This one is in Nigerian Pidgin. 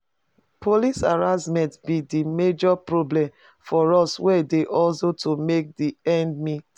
Police harassment be di major problem for us wey dey hustle to make di ends meet.